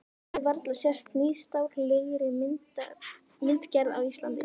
Hafi varla sést nýstárlegri myndgerð á Íslandi.